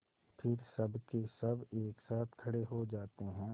फिर सबकेसब एक साथ खड़े हो जाते हैं